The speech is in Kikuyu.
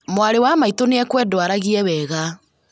Mwarĩ wa maitũ nĩakwendwo aragie wega